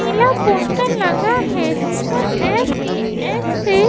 नीला poster लगा है जिस पर एस_टी_ एस से --